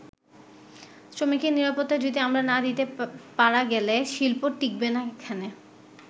শ্রমিকের নিরাপত্তা যদি আমরা না দিতে পারা গেলে শিল্প টিকবে না এখানে।